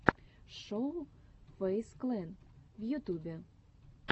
шоу фэйз клэн в ютубе